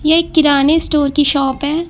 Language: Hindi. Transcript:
एक किराने स्टोर की शॉप है।